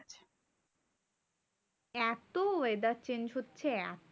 এত weather change হচ্ছে